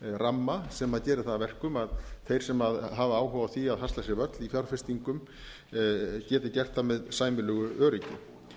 ramma sem gerir það að verkum að þeir sem hafa áhuga á því að hasla sér völl í fjárfestingum geti gert það með sæmilegu öryggi